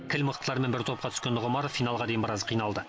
кіл мықтылармен бір топқа түскен нұғымаров финалға дейін біраз қиналды